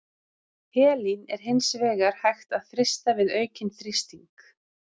Helín er hins vegar hægt að frysta við aukinn þrýsting.